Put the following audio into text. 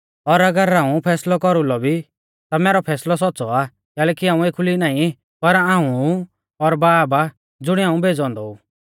और अगर हाऊं फैसलौ कौरुलौ भी ता मैरौ फैसलौ सौच़्च़ौ आ कैलैकि हाऊं एखुली नाईं पर हाऊं ऊ और बाब आ ज़ुणिऐ हाऊं भेज़ौ औन्दौ ऊ